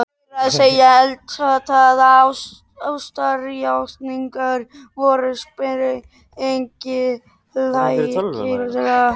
Meira að segja eldheitar ástarjátningar voru sprenghlægilegar.